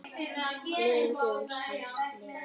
Minning Jóns Halls lifir.